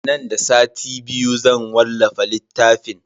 Nan da sati biyu zan wallafa littafin.